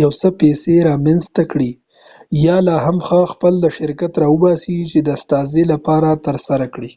یو څه پیسي رامینځته کړي یا، لاهم ښه، خپل شرکت راوباسي چې دا ستاسي لپاره ترسره کړي۔